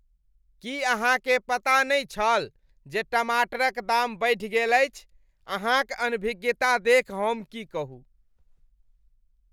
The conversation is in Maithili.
की अहाँकेँ पता नहि छल जे टमाटरक दाम बढ़ि गेल अछि? अहाँक अनभिज्ञता देखि हम की कहू।